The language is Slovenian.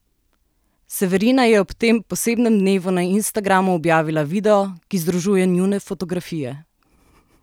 Severina je ob tem posebnem dnevu na instagramu objavila video, ki združuje njune fotografije.